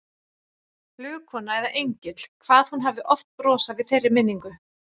Flugkona eða engill, hvað hún hafði oft brosað við þeirri minningu.